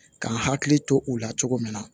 Ka n hakili to u la cogo min na